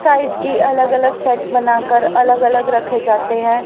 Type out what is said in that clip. Size की अलग अलग शर्ट बनाकर अलग अलग रखे जाते हैं।